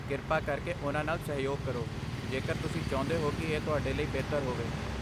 ਕਿਰਪਾ ਕਰਕੇ ਉਹਨਾਂ ਨਾਲ ਸਹਿਯੋਗ ਕਰੋ, ਜੇਕਰ ਤੁਸੀਂ ਚਾਹੁੰਦੇ ਹੋ ਕਿ ਇਹ ਤੁਹਾਡੇ ਲਈ ਬਿਹਤਰ ਹੋਵੇ।